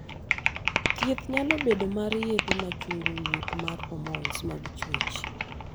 thieth nyalo bedo mar yedhe machungo wuok mar hormons mag chwech